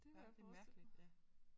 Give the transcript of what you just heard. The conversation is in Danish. Rigtig mærkeligt ja